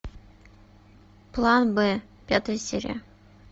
план б пятая серия